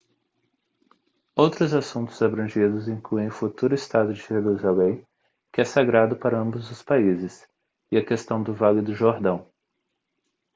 outros assuntos abrangidos incluem o futuro estado de jerusalém que é sagrado para ambos os países e a questão do vale do jordão